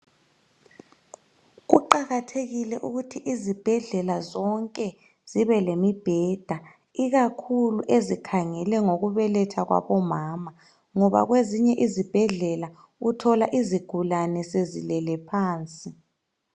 Kuqakathekile ukuthi izibhedlela zibelemibheda ikakhulu ezikhangelane lokubethela kwabo mama ngobakwezinye izibhedlela uthola izigulani sezilele phansi